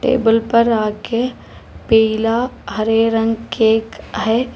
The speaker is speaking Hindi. टेबल पर आके पीला हरे रंग केक है।